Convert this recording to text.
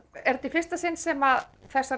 er þetta í fyrsta sinn sem þessar